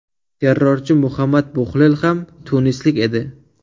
Terrorchi Muhammad Buxlel ham tunislik edi.